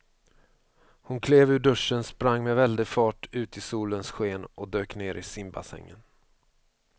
Hon klev ur duschen, sprang med väldig fart ut i solens sken och dök ner i simbassängen.